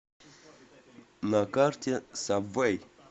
на карте сабвэй